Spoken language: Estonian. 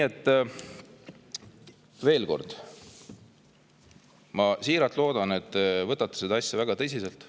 Veel kord, ma siiralt loodan, et te võtate seda asja väga tõsiselt.